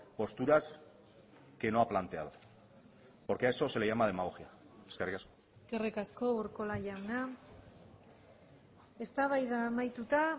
posturas que no ha planteado porque a eso se le llama demagogia eskerrik asko eskerrik asko urkola jauna eztabaida amaituta